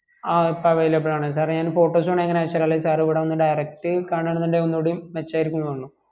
ആ ഇപ്പം available ആണ് sir റേ ഞാൻ ഇപ്പം photos വേണേ ഇപ്പം അയച് തരാം അല്ലെ sir ഇവിടെ വന്ന് direct കാണാന്ന് ഇണ്ടെങ്കിൽ ഒന്നൂടിയും മെച്ചം ആയിരിക്കുന്ന് തോന്നണൂ